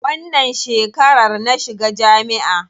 Wannan shekarar na shiga jami'a.